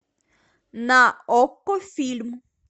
на окко фильм